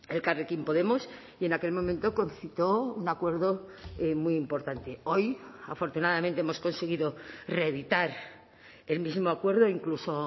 elkarrekin podemos y en aquel momento concitó un acuerdo muy importante hoy afortunadamente hemos conseguido reeditar el mismo acuerdo incluso